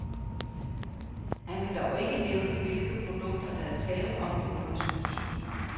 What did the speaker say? Han kan dog ikke nævne, hvilke produkter, der er tale om i undersøgelsen.